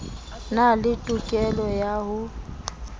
na le tokelo ya ho